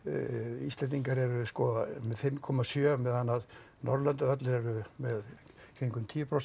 Íslendingar eru sko með fimm komma sjö meðan Norðurlöndin öll eru með kringum tíu prósent